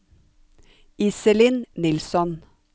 Iselin Nilsson